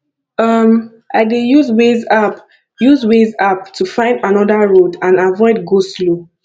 um i dey use waze app use waze app to find another road and avoid goslow